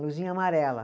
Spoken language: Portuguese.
Luzinha amarela.